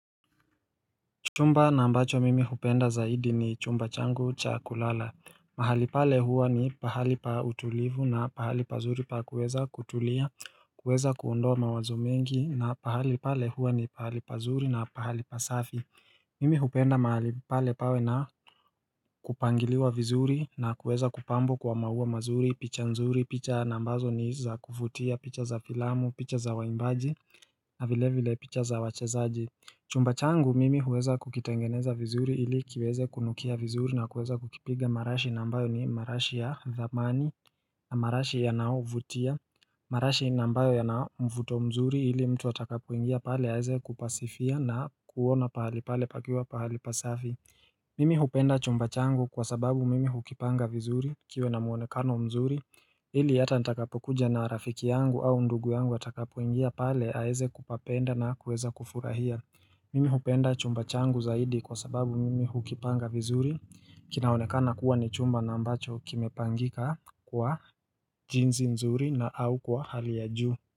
Chumba na ambacho mimi hupenda zaidi ni chumba changu cha kulala mahali pale huwa ni pahali pa utulivu na pahali pazuri pa kuweza kutulia kuweza kuondoa mawazo mengi na pahali pale huwa ni pahali pazuri na pahali pasafi Mimi hupenda mahalipale pawe na kupangiliwa vizuri na kuweza kupambwa kwa maua mazuri picha nzuri picha na ambazo ni za kuvutia picha za filamu picha za waimbaji na vile vile picha za wachezaji Chumba changu mimi huweza kukitangeneza vizuri ili kiweze kunukia vizuri na kuweza kukipiga marashi na ambayo ni marashi ya dhamani na marashi yanaovutia marashi na ambayo yanayo mvuto mzuri ili mtu atakapoingia pale aeze kupasifia na kuona pahali pale pakiwa pahali pasafi Mimi hupenda chumba changu kwa sababu mimi hukipanga vizuri kiwe na muonekano mzuri ili hata nitakapokuja na rafiki yangu au ndugu yangu atakapoingia pale aweze kupapenda na kuweza kufurahia Mimi hupenda chumba changu zaidi kwa sababu mimi hukipanga vizuri kinaonekana kuwa ni chumba na ambacho kimepangika kwa jinsi nzuri na au kwa hali ya juu.